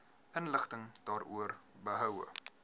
inligting daaroor behoue